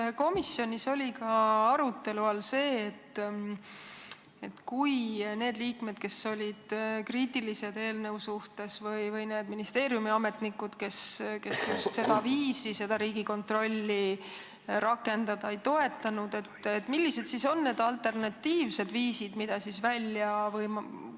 Kui komisjonis oli liikmeid, kes olid eelnõu suhtes kriitilised, või ministeeriumiametnikud just seda viisi seda riigi kontrolli rakendada ei toetanud, siis millised olid need alternatiivsed viisid, mida välja pakuti?